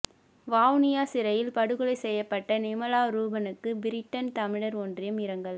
வவுனியா சிறையில் படுகொலை செய்யப்பட்ட நிமல ரூபனுக்கு பிரிட்டன் தமிழர் ஒன்றியம் இரங்கல்